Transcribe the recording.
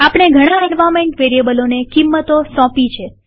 આપણે ઘણા એન્વાર્નમેન્ટ વેરીએબલોને કિંમતો સોપી